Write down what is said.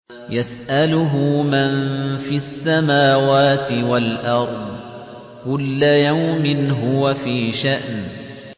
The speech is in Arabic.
يَسْأَلُهُ مَن فِي السَّمَاوَاتِ وَالْأَرْضِ ۚ كُلَّ يَوْمٍ هُوَ فِي شَأْنٍ